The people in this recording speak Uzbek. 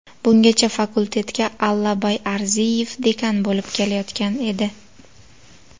Bungachafakultetga Allabay Arziyev dekan bo‘lib kelayotgan edi.